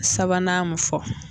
Sabanan mun fɔ.